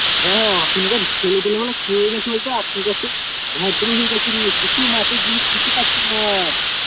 হ্যাঁ এখনকার ছেলেদের মানে কী হয়েছে কী বলতো ভদ্র হয়ে গেছে নিয়ে কিছু মাটির জিনিস কিছু খাচ্ছে না আর